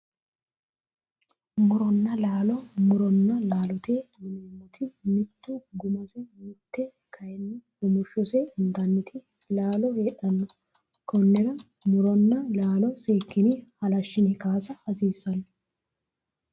Muronna laalo muronna laalote yineemmoti mite gumase mite kayinni rumushshose intanniti laalo heedhanno konnira muronna laalo seekkine halashshine kaasa hasiissanno